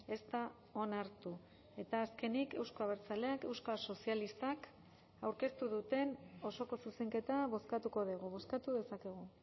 ez da onartu eta azkenik euzko abertzaleak euskal sozialistak aurkeztu duten osoko zuzenketa bozkatuko dugu bozkatu dezakegu